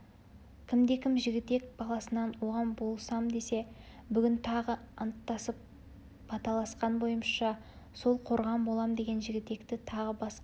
кімде-кім жігітек баласынан оған болысам десе бүгін тағы анттасып баталасқан бойымызша сол қорған болам деген жігітекті тағы басқа